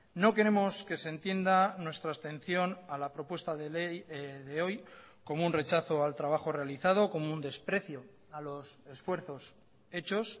no queremos que se entienda nuestra abstención a la propuesta de ley de hoy como un rechazo al trabajo realizado como un desprecio a los esfuerzos hechos